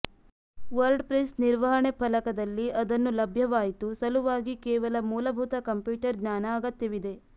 WordPress ನಿರ್ವಹಣೆ ಫಲಕದಲ್ಲಿ ಅದನ್ನು ಲಭ್ಯವಾಯಿತು ಸಲುವಾಗಿ ಕೇವಲ ಮೂಲಭೂತ ಕಂಪ್ಯೂಟರ್ ಜ್ಞಾನ ಅಗತ್ಯವಿದೆ